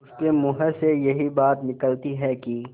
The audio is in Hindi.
उसके मुँह से यही बात निकलती है कि